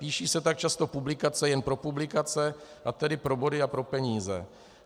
Píší se tak často publikace jen pro publikace a tedy pro body a pro peníze.